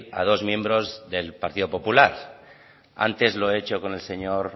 a dos miembros del partido popular ante lo he hecho con el señor